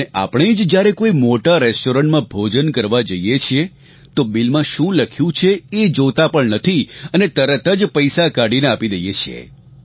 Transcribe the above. અને આપણે જ્યારે જ કોઇ મોટા રેસ્ટ્રોરન્ટમાં ભોજન કરવા જઇએ છીએ તો બિલમાં શું લખ્યું છે એ જોતાં પણ નથી અને તરત જ પૈસા કાઢીને આપી દઇએ છીએ